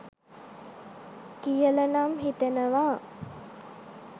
කියලනම් හිතෙනවා